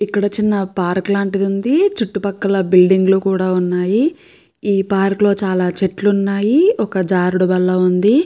ఇక్కడ చిన్న పార్క్ లాంటిది ఉంది. చుట్టుపక్కల బిల్డింగ్లు కూడా ఉన్నాయి ఈ పార్క్ లో చాలా చెట్లు ఉన్నాయి ఒక జారుడు బల్ల ఉంది.